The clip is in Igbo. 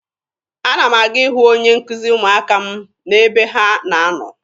Ana m aga ịhụ onye nkuzi ụmụaka m n'ebe ha na-anọ.